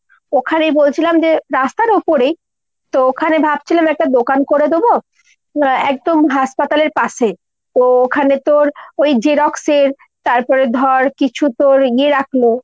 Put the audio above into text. ওখানে বলছিলাম যে রাস্তার ওপরেই। তো ওখানে ভাবছিলাম একটা দোকান করে দোবো। উম একদম হাসপাতালের পাশে। তো ওখানে তোর ওই Xerox এর তারপরে ধর কিছু তোর ইয়ে রাখলো